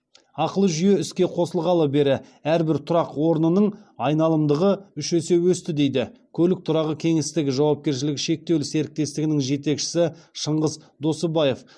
ақылы жүйе іске қосылғалы бері әрбір тұрақ орнының айналымдығы үш есе өсті дейді көлік тұрағы кеңістігі жауапкершілігі шектеулі серіктестігінің жетекшісі шыңғыс досыбаев